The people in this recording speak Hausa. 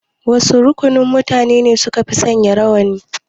Wasu rukunin mutane ne sukafi sanya rawani?